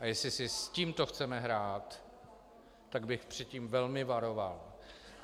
A jestli si s tímto chceme hrát, tak bych před tím velmi varoval.